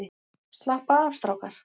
Slappa af strákar!